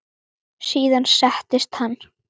Síðan settist hann.